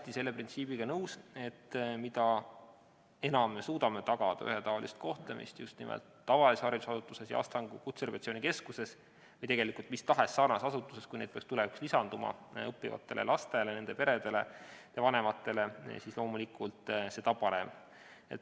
Olen selle printsiibiga hästi nõus, et mida enam me suudame tagada ühetaolist kohtlemist just nimelt tavalises haridusasutuses ja Astangu Kutserehabilitatsiooni Keskuses – või tegelikult mis tahes sarnases asutuses, kui neid peaks tulevikus lisanduma – õppivatele lastele ja nende peredele, nende vanematele, seda parem, loomulikult.